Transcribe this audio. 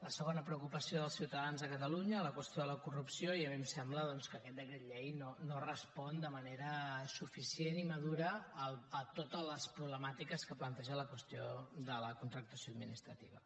la segona preocupació dels ciutadans a catalunya la qüestió de la corrupció i a mi em sembla doncs que aquest decret llei no respon de manera suficient i madura a totes les problemàtiques que planteja la qüestió de la contractació administrativa